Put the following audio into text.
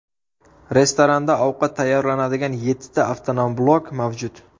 Restoranda ovqat tayyorlanadigan yettita avtonom blok mavjud.